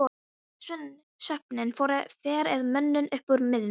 Svefninn fer að mönnum upp úr miðnætti.